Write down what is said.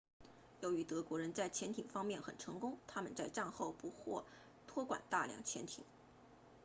由于德国人在潜艇方面很成功他们在战后不获托管大量潜艇